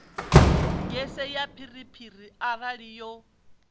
gese ya phiriphiri arali yo